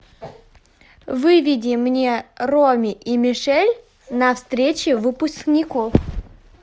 выведи мне роми и мишель на встрече выпускников